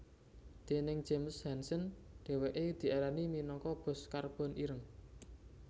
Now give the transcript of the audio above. Déning James Hansen dhèwèké diarani minangka bos karbon ireng